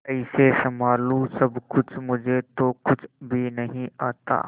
कैसे संभालू सब कुछ मुझे तो कुछ भी नहीं आता